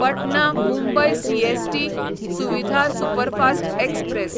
Patna Mumbai CST Suvidha superfast express